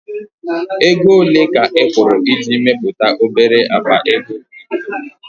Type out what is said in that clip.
Ego ole ka ị kwụrụ iji mepụta obere akpa ego crypto?